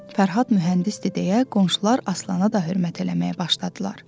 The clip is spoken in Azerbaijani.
Fərhad mühəndisdir deyə qonşular Aslana da hörmət eləməyə başladılar.